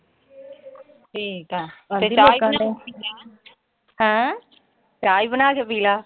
ਠੀਕਾ। ਤੇ ਚਾਹ ਚਾਹ ਈ ਬਣਾ ਕੇ ਪੀ ਲੈ।